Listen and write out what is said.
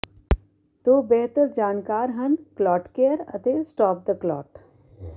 ਦੋ ਬਿਹਤਰ ਜਾਣਕਾਰ ਹਨ ਕਲੌਟਕੇਅਰ ਅਤੇ ਸਟੌਪ ਦ ਕਲੌਟ